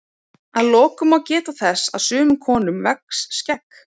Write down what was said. að lokum má geta þess að sumum konum vex skegg